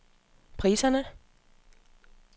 priserne